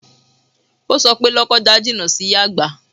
O sọ pé Lọ́kọ́ja jìnà sí Yàgbà